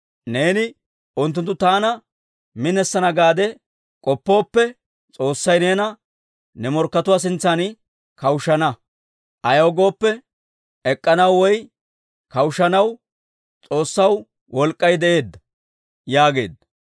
Neeni, unttunttu taana minisana gaade k'oppooppe, S'oossay neena ne morkkatuwaa sintsan kawushshana. Ayaw gooppe, ek'k'anaw woy kawushshanaw S'oossaw wolk'k'ay de'ee» yaageedda.